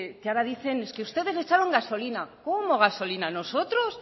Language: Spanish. que ahora dicen es que ustedes echaron gasolina cómo gasolina nosotros